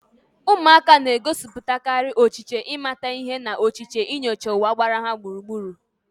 Ụmụaka na-egosipụtakarị ọchịchọ ịmata ihe na ọchịchọ inyocha ụwa gbara ha gburugburu.